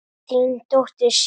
Þín dóttir, Sif.